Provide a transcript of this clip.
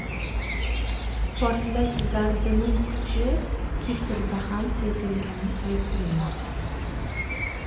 Portlash zarbining kuchi Kiprda ham sezilgani aytilmoqda.